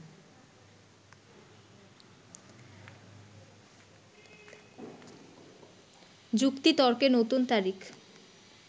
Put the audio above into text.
যুক্তিতর্কে নতুন তারিখ